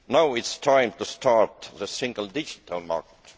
Now is the time to start the single digital market.